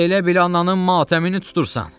Elə bil ananın matəmini tutursan.